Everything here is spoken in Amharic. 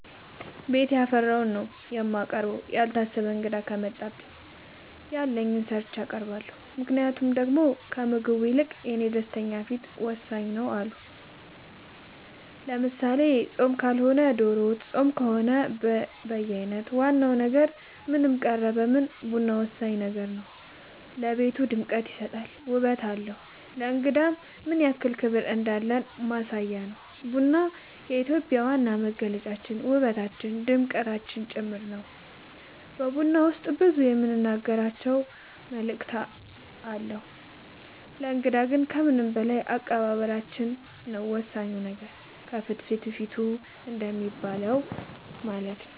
ቤት ያፈራውን ነው የማቀርበው ያልታሰበ እንግዳ ከመጣ ያለኝን ሰርቼ አቀርባለሁ ምክንያቱም ደሞ ከምግቡ ይልቅ የኔ ደስተኛ ፊት ወሳኝ ነው አዎ አሉ ለምሳሌ ፆም ካልሆነ ዶሮ ወጥ ፆም ከሆነ በየአይነት ዋና ነገር ምንም ቀረበ ምንም ቡና ወሳኝ ነገር ነው ለቤቱ ድምቀት ይሰጣል ውበት አለው ለእንግዳም ምንያክል ክብር እንዳለን ማሳያ ነው ቡና የኢትዮጵያ ዋና መገለጫችን ውበታችን ድምቀታችን ጭምር ነው በቡና ውስጥ ብዙ የምንናገራቸው መልዕክት አለው ለእንግዳ ግን ከምንም በላይ አቀባበላችን ነው ወሳኙ ነገር ከፍትፍቱ ፊቱ እንደሚባለው ማለት ነው